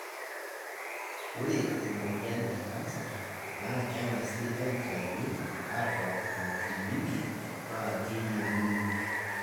Ore emoyian e kansa naa kengasi aitayu aabak ina tibili paa keyieng'uni